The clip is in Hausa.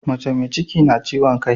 Mace me ciki na kiwon kai